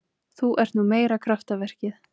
Þú ert nú meira kraftaverkið.